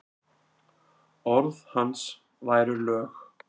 Orð hans væru lög.